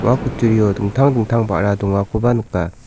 ua kutturio dingtang dingtang ba·ra dongakoba nika.